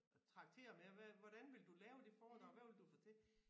Traktere med hvordan vil du lave det foredrag hvad vil du fortælle